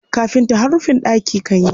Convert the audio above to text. Kafinta har rufin ɗaki kan yi.